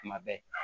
Kuma bɛɛ